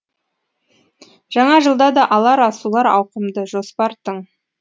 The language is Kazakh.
жаңа жылда да алар асулар ауқымды жоспар тың